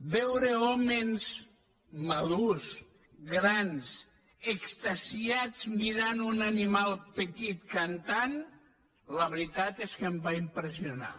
veure hòmens madurs grans extasiats mirant un animal petit cantant la veritat és que em va impressionar